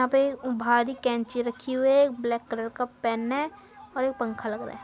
यहाँ पे भारी कैंची रखी हुई है। एक ब्लैक कलर का पेन है और एक पंखा लग रहा है।